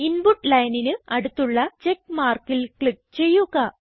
input lineനിന് അടുത്തുള്ള check markൽ ക്ലിക്ക് ചെയ്യുക